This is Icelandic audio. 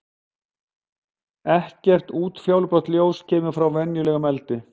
Ekkert útfjólublátt ljós kemur frá venjulegum eldi.